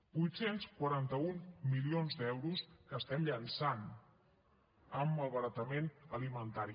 vuitcents quarantaun milions d’euros que llencem amb malbaratament alimentari